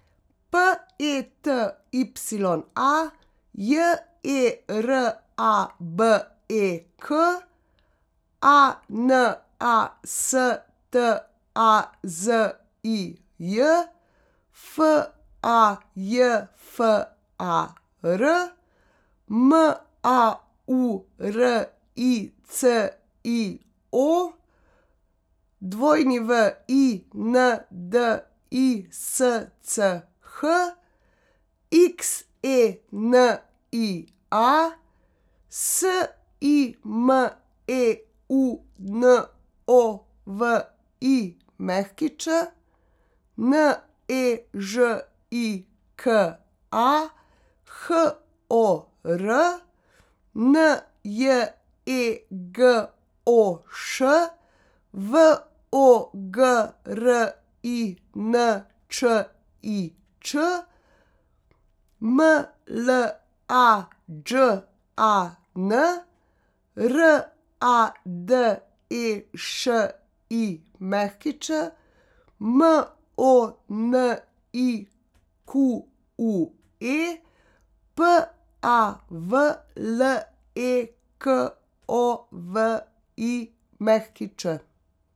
P E T Y A, J E R A B E K; A N A S T A Z I J, F A J F A R; M A U R I C I O, W I N D I S C H; X E N I A, S I M E U N O V I Ć; N E Ž I K A, H O R; N J E G O Š, V O G R I N Č I Č; M L A Đ A N, R A D E Š I Ć; M O N I Q U E, P A V L E K O V I Ć.